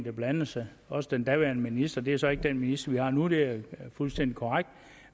har blandet sig også den daværende minister det er så ikke den minister vi har nu det er fuldstændig korrekt